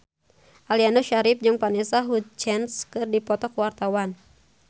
Aliando Syarif jeung Vanessa Hudgens keur dipoto ku wartawan